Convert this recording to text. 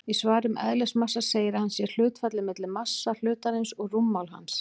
Í svari um eðlismassa segir að hann sé hlutfallið milli massa hlutarins og rúmmáls hans.